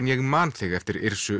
ég man þig eftir